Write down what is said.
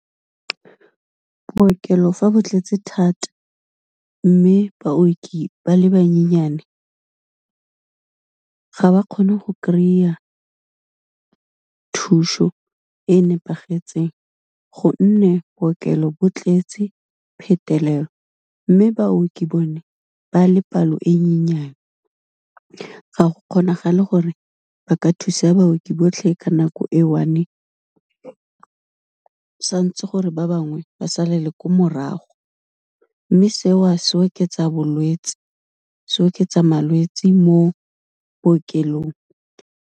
Bookelo fa ba tletse thata mme baoki ba le bannyenyane, ga ba kgone go kry-a thuso e nepagetseng, gonne bookelo bo tletse phetelela, mme baoki bone ba le palo e nyenyane, ga go kgonagale gore ba ka thusa baoki botlhe ka nako e one, santse gore ba bangwe ba salele ko morago, mme se o se oketsa bolwetsi, se oketsa malwetsi mo bookelong.